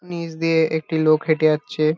নিচ দিয়ে একটি লোক হেঁটে যাচ্ছে।